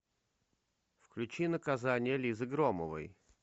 включи наказание лизы громовой